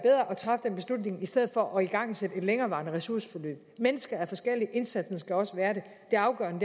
at træffe den beslutning i stedet for at igangsætte et længerevarende ressourceforløb mennesker er forskellige indsatsen skal også være det det afgørende